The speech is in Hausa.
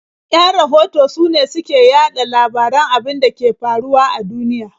Yan rahoto sune su ke yaɗa labaran abin da ke faruwa a duniya.